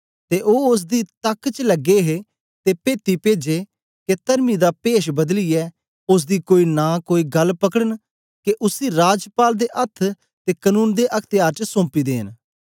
ते ओ ओसदी तक्क च लगे हे ते पेत्ती पेजे के तर्मी दा पेश बदलीयै ओसदी कोई नां कोई गल्ल पकड़न के उसी राजपाल दे अथ्थ ते कनून दे अख्त्यार च सौम्पी देन